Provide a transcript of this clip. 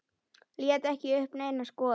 Lét ekki uppi neina skoðun.